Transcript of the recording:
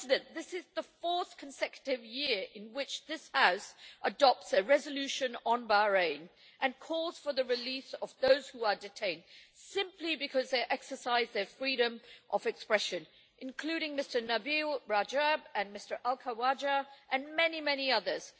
This is the fourth consecutive year in which this House has adopted a resolution on Bahrain calling for the release of those who are detained simply because they exercise their freedom of expression, including Nabeel Rajab and Abdulhadi al Khawaja and many, many others.